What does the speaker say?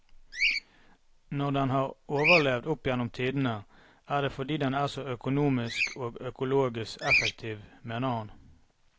Når den har overlevd opp gjennom tidene, er det fordi den er så økonomisk og økologisk effektiv, mener han.